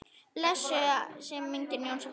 Blessuð sé minning Jónsa frænda.